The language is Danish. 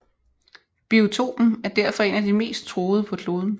Biotopen er derfor en af de mest truede på kloden